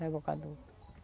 Rebocador.